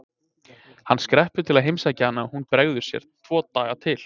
Hann skreppur til að heimsækja hana og hún bregður sér tvo daga til